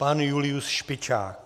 Pan Julius Špičák.